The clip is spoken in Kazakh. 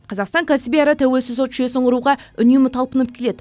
қазақстан кәсіби әрі тәуелсіз сот жүйесін құруға үнемі талпынып келеді